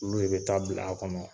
Olu de bɛ taa bila a kɔnɔ.